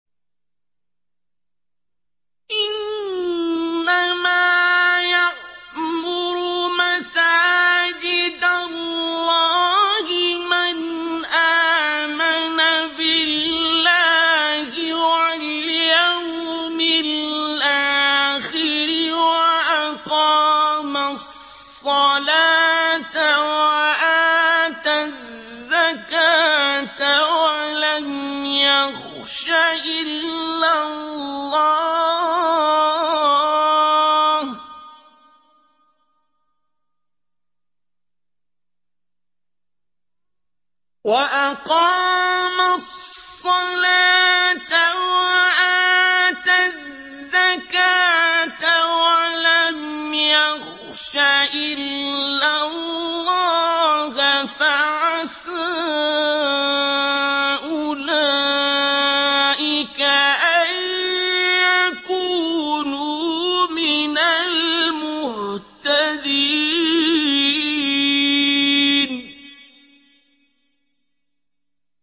إِنَّمَا يَعْمُرُ مَسَاجِدَ اللَّهِ مَنْ آمَنَ بِاللَّهِ وَالْيَوْمِ الْآخِرِ وَأَقَامَ الصَّلَاةَ وَآتَى الزَّكَاةَ وَلَمْ يَخْشَ إِلَّا اللَّهَ ۖ فَعَسَىٰ أُولَٰئِكَ أَن يَكُونُوا مِنَ الْمُهْتَدِينَ